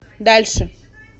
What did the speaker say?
дальше